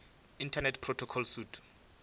internet protocol suite